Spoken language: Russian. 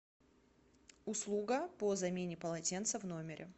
услуга по замене полотенца в номере